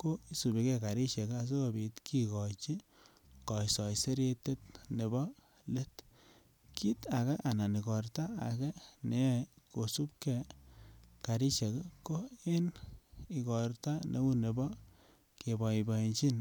Ko isubike karisiek asigopit kikochi kasoiseretet nebo let. Kit age anan igorto age ne yoe kosubke karisiek ko en igorto neu nebo keboiboenjin